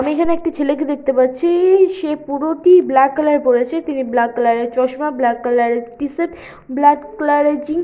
আমি এইখানে একটি ছেলেকে দেখতে পাচ্ছি - ই - ই সে পুরোটি ব্ল্যাক কালা র পড়েছে তিনি ব্ল্যাক কালার এর চশমা ব্ল্যাক কালার এর টিশার্ট ব্ল্যাক ক্লারের জীন --